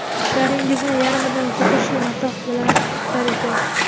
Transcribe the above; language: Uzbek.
ishlaringizni yarimidan ko‘pi shu matoh bilan bitar ekan.